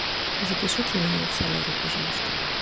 запишите меня в солярий пожалуйста